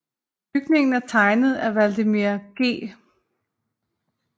Bygningen er tegnet af Vladimir G